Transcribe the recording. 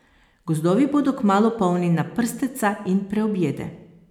Gozdovi bodo kmalu polni naprsteca in preobjede.